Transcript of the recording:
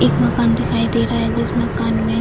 एक मकान दिखाई दे रहा है जिस मकान में --